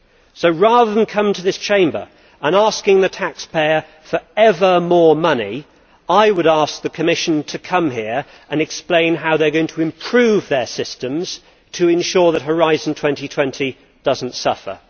So, rather than coming to this Chamber and asking the taxpayer for ever more money, I would ask the Commission to come here and explain how it is going to improve its systems to ensure that Horizon 2020 does not suffer.